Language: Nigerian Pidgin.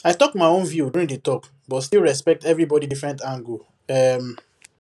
i talk my own view during the talk but still respect everybody different angle um